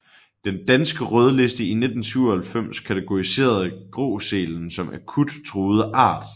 Den danske rødliste i 1997 kategoriserede gråsælen som akut truet art